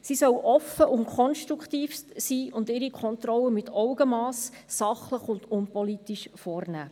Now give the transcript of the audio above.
Sie soll offen und konstruktiv sein und ihre Kontrolle mit Augenmass, sachlich und unpolitisch vornehmen.